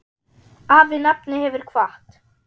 Afi nafni hefur kvatt.